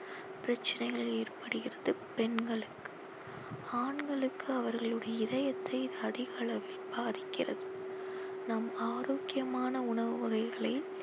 பிரச்சனைகள் ஏற்படுகிறது பெண்களுக்கு ஆண்களுக்கு அவர்களுடைய இதயத்தை இது அதிக அளவில் பாதிக்கிறது நம் ஆரோக்கியமான உணவு வகைகளை